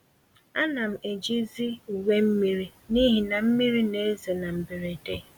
Ánám eji zi uwe mmiri n'ihi na mmiri n'ezo na mberede,